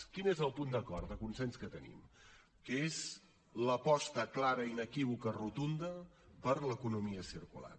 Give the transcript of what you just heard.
quin és el punt d’acord de consens que tenim que és l’aposta clara inequívoca rotunda per l’economia circular